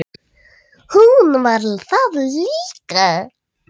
Hún var það líka.